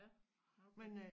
Ja okay